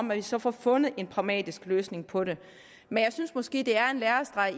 man så får fundet en pragmatisk løsning på det men jeg synes måske at det er en lærestreg